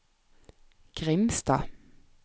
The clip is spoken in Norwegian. Grimstad